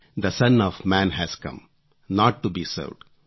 the son of man has come not to be served